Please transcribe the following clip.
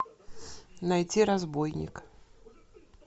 найти разбойник